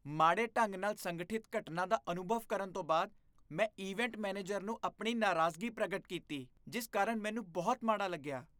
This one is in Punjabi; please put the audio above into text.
ਮਾੜੇ ਢੰਗ ਨਾਲ ਸੰਗਠਿਤ ਘਟਨਾ ਦਾ ਅਨੁਭਵ ਕਰਨ ਤੋਂ ਬਾਅਦ ਮੈਂ ਇਵੈਂਟ ਮੈਨੇਜਰ ਨੂੰ ਆਪਣੀ ਨਾਰਾਜ਼ਗੀ ਪ੍ਰਗਟ ਕੀਤੀ ਜਿਸ ਕਾਰਨ ਮੈਨੂੰ ਬਹੁਤ ਮਾੜਾ ਲੱਗਿਆ।